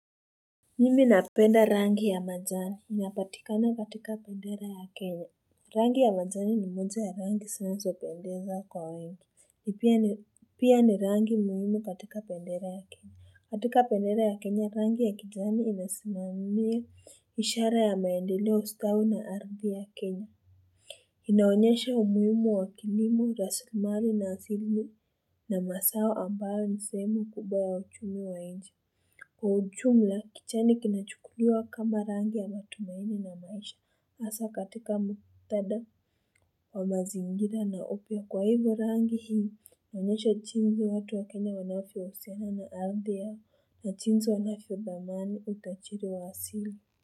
Mimi napenda rangi ya majani inapatikana katika bendera ya kenya rangi ya majani ni moja ya rangi zinazo pendeza kwa wengi pia ni pia ni rangi muhimu katika bendera ya kenya katika bendera ya kenya rangi ya kijani inasimamiya ishara ya maendeleo ustawi na ardhi ya kenya inaonyesha umuhimu wa kilimo rasilimali na asili na masao ambayo ni sehemu kubwa ya uchumi wa inji Kwa uchumla kichani kinachukua kama rangi ya matumaini na maisha asa katika muktada wa mazingira na upya kwa hivyo rangi hii huonyesha chinzi watu wa kenya wanavyohusiana na afia na chinzi wanafyothamani utachiri wa asili.